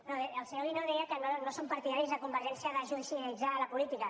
no el senyor guinó deia que no són partidaris a convergència de judicialitzar la política